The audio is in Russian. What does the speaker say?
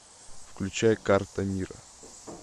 включай карта мира